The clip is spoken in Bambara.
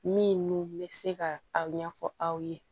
Min n'u bɛ se ka aw ɲɛfɔ aw ye